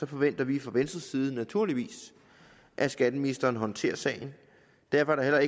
forventer vi fra venstres side naturligvis at skatteministeren håndterer sagen derfor er der